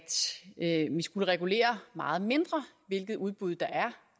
vi skulle regulere meget mindre hvilke udbud der er